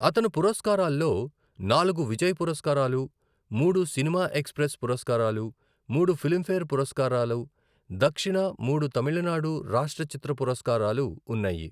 అతను పురస్కారాల్లో నాలుగు విజయ్ పురస్కారాలు, మూడు సినిమా ఎక్స్ప్రెస్ పురస్కారాలు, మూడు ఫిల్మ్ఫేర్ పురస్కారాలు దక్షిణ, మూడు తమిళనాడు రాష్ట్ర చిత్ర పురస్కారాలు ఉన్నాయి.